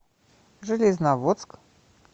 железноводск